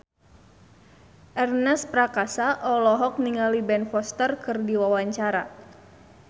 Ernest Prakasa olohok ningali Ben Foster keur diwawancara